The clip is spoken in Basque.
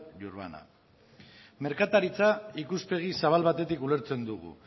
y urbana merkataritza ikuspegi zabal batetik ulertzen dugu